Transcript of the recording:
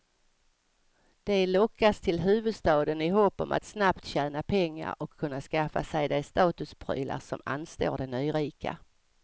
De lockas till huvudstaden i hopp om att snabbt tjäna pengar och kunna skaffa sig de statusprylar som anstår de nyrika.